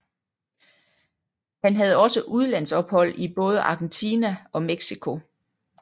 Han havde også udlandsophold i både Argentina og Mexico